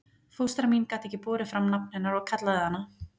Fóstra mín gat ekki borið fram nafn hennar og kallaði hana